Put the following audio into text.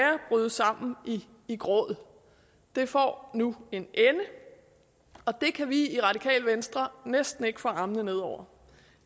bryde sammen i gråd det får nu en ende og det kan vi i radikale venstre næsten ikke få armene ned over